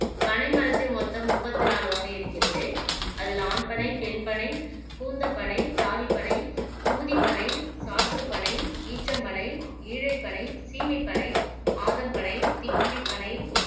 பனை மரத்தில் மொத்தம் முப்பத்தி நாலு வகை இருக்கிறது அதில் ஆண் பனை பெண் பனை கூந்தப்பனை தாலிப்பனை குமுதி பனை சாற்றுப்பனை ஈச்சம் பனை ஈழைப்பனை சீமைப் பனை ஆதம் பனை சித்திரிப் பனை